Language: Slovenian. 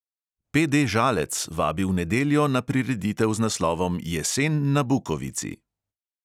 PD žalec vabi v nedeljo na prireditev z naslovom jesen na bukovici.